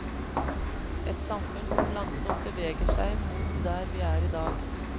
Et samfunn som langsomt beveger seg mot der vi er i dag.